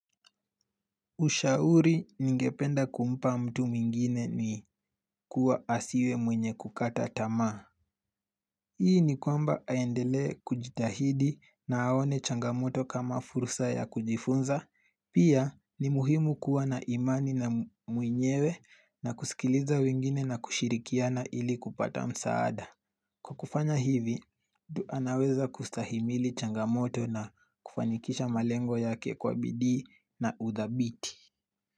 Ushauri ningependa kumpa mtu mwingine ni kuwa asiwe mwenye kukata tamaa Hii ni kwamba aendelee kujitahidi na aone changamoto kama fursa ya kujifunza Pia ni muhimu kuwa na imani na mwenyewe na kusikiliza mwingine na kushirikiana ili kupata msaada Kwa kufanya hivi, mtu anaweza kustahimili changamoto na kufanikisha malengo yake kwa bidii na udhabiti.